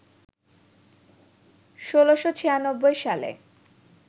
১৬৯৬ সালে